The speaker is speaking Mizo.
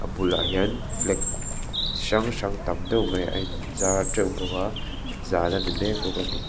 bulah hian flag chi hrang hrang tam deuh mai a inzar teuh bawka zan ani mek bawk a ni.